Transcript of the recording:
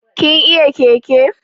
Kin iya keke?